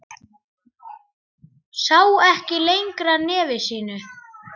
Sá ekki lengra nefi sínu.